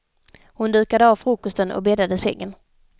Hon dukade av frukosten och bäddade sängen.